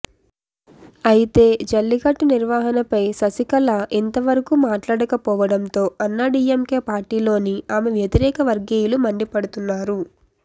అయితే జల్లికట్టు నిర్వహణపై శశికళ ఇంత వరకు మాట్లాడకపోవడంతో అన్నాడీఎంకే పార్టీలోని ఆమె వ్యతిరేక వర్గీయులు మండిపడుతున్నారు